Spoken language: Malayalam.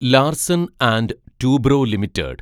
Larsen and Toubro limited